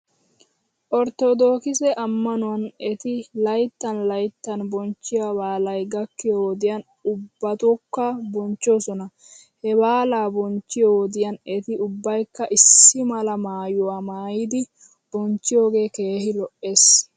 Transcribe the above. Orttodookise ammanuwan eti layttan layttan bonchchiyoo baalay gakkiyoo wodiyan ubbatokka bonchchoosona. He baalaa bonchchiyoo wodiyan eti ubbaykka issi mala maayuwaa maayidi bonchchiyoogee keehi lo'es.